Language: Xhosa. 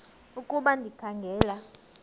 ukuba ndikha ngela